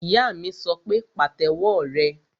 Ìyá mi sọ pé, Pàtẹ́wọ́ rẹ!